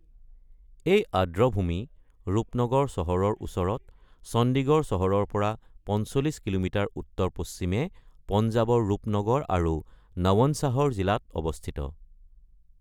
এই আৰ্দ্ৰভূমি ৰূপনগৰ চহৰৰ ওচৰত, চণ্ডীগড় চহৰৰ পৰা ৪৫ কিলোমিটাৰ উত্তৰ-পশ্চিমে, পঞ্জাৱৰ ৰূপনগৰ আৰু নৱনশ্বাহৰ জিলাত অৱস্থিত।